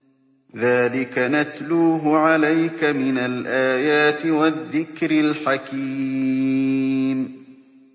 ذَٰلِكَ نَتْلُوهُ عَلَيْكَ مِنَ الْآيَاتِ وَالذِّكْرِ الْحَكِيمِ